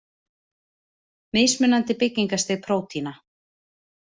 Mismunandi byggingarstig prótína.